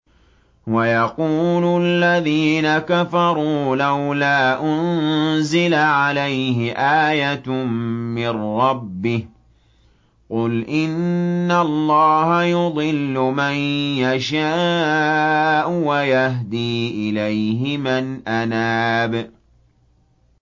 وَيَقُولُ الَّذِينَ كَفَرُوا لَوْلَا أُنزِلَ عَلَيْهِ آيَةٌ مِّن رَّبِّهِ ۗ قُلْ إِنَّ اللَّهَ يُضِلُّ مَن يَشَاءُ وَيَهْدِي إِلَيْهِ مَنْ أَنَابَ